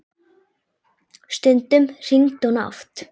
Stundum hringdi hún oft.